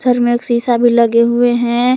घर में एक शीशा भी लगे हुए हैं।